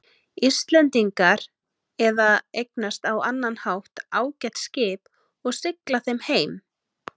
Íslendingar eða eignast á annan hátt ágæt skip og sigla þeim heim.